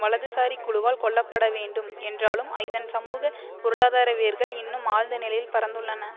வலதுசாரி குழுவால் கொள்ளப்படவேண்டும் என்றாலும் இதன் சமூக பொருளாதார வேர்கள் இன்னும் ஆழ்ந்த நிலையில் பரந்துள்ளன